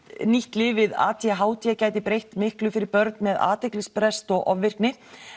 nýtt lyf við a d h d gæti breytt miklu fyrir börn með athyglisbrest og ofvirkni